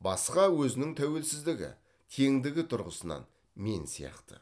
басқа өзінің тәуелсіздігі теңдігі тұрғысынан мен сияқты